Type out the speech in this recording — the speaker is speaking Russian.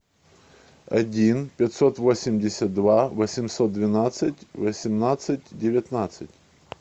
один пятьсот восемьдесят два восемьсот двенадцать восемнадцать девятнадцать